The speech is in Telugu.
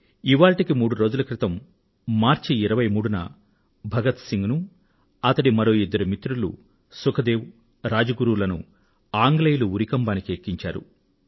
ఇవాళ్టికి మూడు రోజుల క్రితం మార్చి నెల 23వ తేదీన భగత్ సింగ్ నూ అతడి మరో ఇద్దరు మిత్రులు సుఖ్ దేవ్ రాజ్ గురూ లనూ ఆంగ్లేయులు ఉరికంబానికి ఎక్కించారు